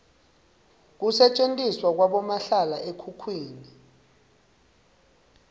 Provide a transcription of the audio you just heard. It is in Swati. kusetjentiswa kwabomahlala ekhukhwini